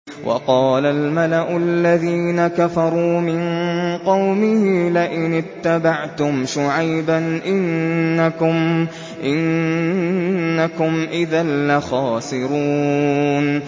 وَقَالَ الْمَلَأُ الَّذِينَ كَفَرُوا مِن قَوْمِهِ لَئِنِ اتَّبَعْتُمْ شُعَيْبًا إِنَّكُمْ إِذًا لَّخَاسِرُونَ